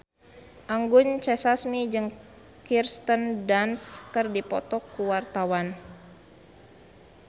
Anggun C. Sasmi jeung Kirsten Dunst keur dipoto ku wartawan